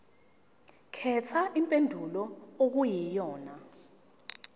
khetha impendulo okuyiyona